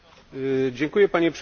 Panie Przewodniczący!